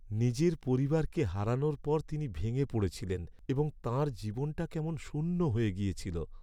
নিজের পরিবারকে হারানোর পর তিনি ভেঙে পড়েছিলেন এবং তাঁর জীবনটা কেমন শূন্য হয়ে গেছিল।